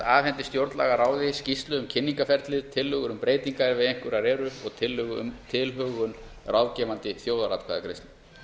afhendi stjórnlagaráði skýrslu um kynningarferlið tillögur um breytingar ef einhverjar eru og tillögu um tilhögun ráðgefandi þjóðaratkvæðagreiðslu